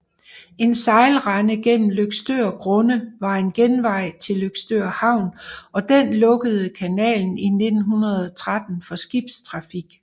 En sejlrende gennem Løgstør Grunde var en genvej til Løgstør Havn og den lukkede kanalen i 1913 for skibstrafik